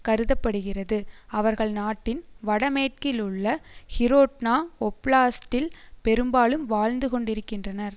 கருத படுகிறது அவர்கள் நாட்டின் வடமேற்கிலுள்ள ஹிரோட்னா ஒப்லாஸ்ட்டில் பெரும்பாலும் வாழ்ந்து கொண்டிருக்கின்றனர்